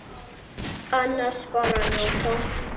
Annars bara að njóta.